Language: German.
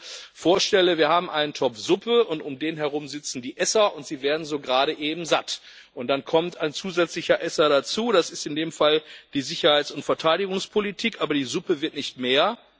Wenn ich mir vorstelle Wir haben einen Topf Suppe, und um den herum sitzen die Esser, und sie werden so gerade eben satt. Und dann kommt ein zusätzlicher Esser dazu, das ist in dem Fall die Sicherheits und Verteidigungspolitik, aber die Suppe wird nicht mehr.